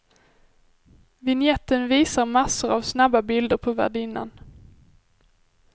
Vinjetten visar massor av snabba bilder på värdinnan.